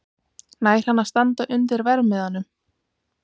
Nær hann að standa undir verðmiðanum?